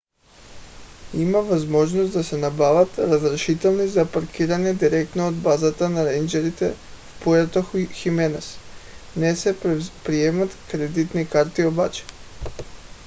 има възможност да се набавят разрешителни за паркиране директно от базата на рейнджърите в пуерто хименес не се приемат кредитни карти обаче